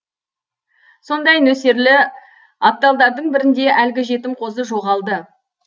сондай нөсерлі апталардың бірінде әлгі жетім қозы жоғалды